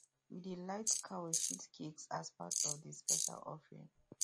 we dey light cow shit cakes as part of the special offering